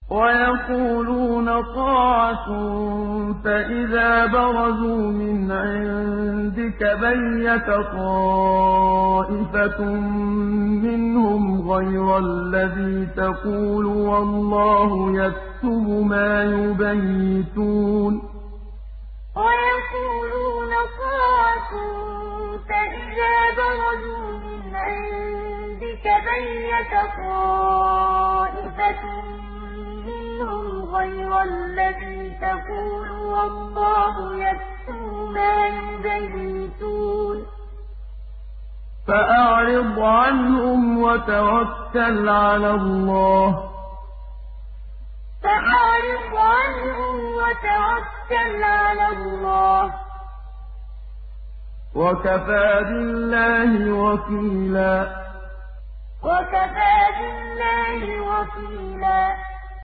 وَيَقُولُونَ طَاعَةٌ فَإِذَا بَرَزُوا مِنْ عِندِكَ بَيَّتَ طَائِفَةٌ مِّنْهُمْ غَيْرَ الَّذِي تَقُولُ ۖ وَاللَّهُ يَكْتُبُ مَا يُبَيِّتُونَ ۖ فَأَعْرِضْ عَنْهُمْ وَتَوَكَّلْ عَلَى اللَّهِ ۚ وَكَفَىٰ بِاللَّهِ وَكِيلًا وَيَقُولُونَ طَاعَةٌ فَإِذَا بَرَزُوا مِنْ عِندِكَ بَيَّتَ طَائِفَةٌ مِّنْهُمْ غَيْرَ الَّذِي تَقُولُ ۖ وَاللَّهُ يَكْتُبُ مَا يُبَيِّتُونَ ۖ فَأَعْرِضْ عَنْهُمْ وَتَوَكَّلْ عَلَى اللَّهِ ۚ وَكَفَىٰ بِاللَّهِ وَكِيلًا